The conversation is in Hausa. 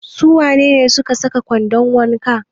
Su wane ne suke saka kwandon wanka?